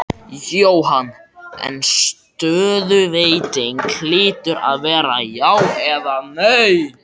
Jóhann: En stöðuveiting hlýtur að vera já eða nei?